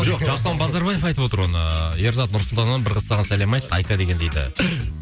жоқ жасұлан базарбаев айтып отыр оны ерзат нұр сұлтаннан бір қыз саған сәлем айтты айка деген дейді